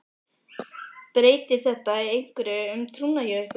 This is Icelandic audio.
Kristinn: Breytir þetta einhverju um trúna hjá ykkur?